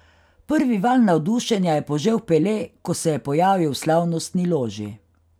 Prvi val navdušenja je požel Pele, ko se je pojavil v slavnostni loži.